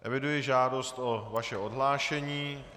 Eviduji žádost o vaše odhlášení.